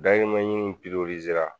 Dayirimɛ ɲini